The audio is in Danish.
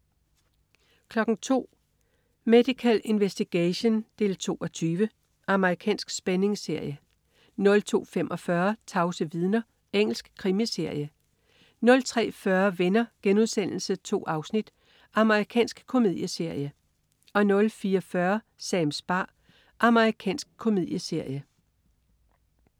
02.00 Medical Investigation 2:20. Amerikansk spændingsserie 02.45 Tavse vidner. Engelsk krimiserie 03.40 Venner.* 2 afsnit. Amerikansk komedieserie 04.40 Sams bar. Amerikansk komedieserie